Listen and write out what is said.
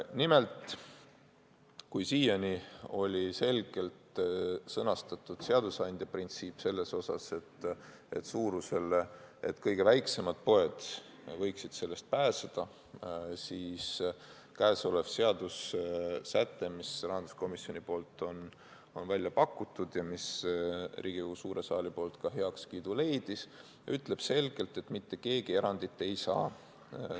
Nimelt, kui siiani oli selgelt sõnastatud seadusandja printsiip, et kõige väiksemad poed võiksid sellest pääseda, siis seadussäte, mis rahanduskomisjonil on välja pakutud ja mis Riigikogu suures saalis ka heakskiidu leidis, ütleb selgelt, et mitte keegi erandit ei saa.